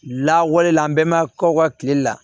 Lawale la an bɛɛ ma k'aw ka kile la